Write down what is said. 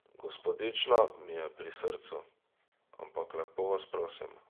Gospodična mi je pri srcu, ampak lepo vas prosim.